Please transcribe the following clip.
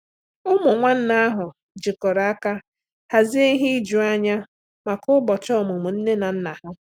Ụmụ nwanne ahụ jikọrọ aka hazie ihe ijuanya maka ụbọchị ọmụmụ nne na nna ha.